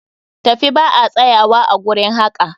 Tafi ba a tsayuwa a gurin haƙa!